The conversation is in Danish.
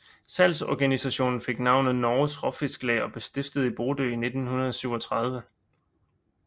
Salgsorganisationen fik navnet Norges Råfisklag og blev stiftet i Bodø i 1937